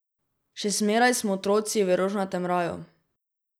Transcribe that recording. Še zmeraj smo otroci v rožnatem raju.